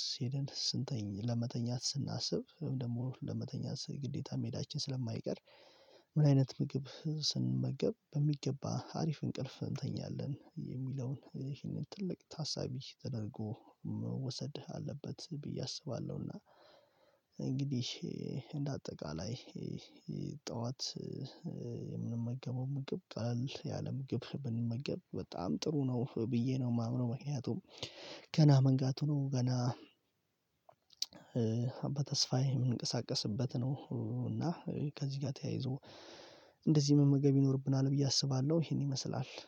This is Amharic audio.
ስሄድን ስንተኛ ለመተኛት ስናስብ ደግሞ ለመተኛት ግዴታ ሜዳችን ስለማይቀር ምን አይነት ምግብ ስንመገብ በሚገባ አሪፍ እንቅልፍ እንተኛለን የሚለውን ይህንን ትልቅ ታሳቢ ተደርጎ መውሰድህ አለበት። ብዬ አስባለሁና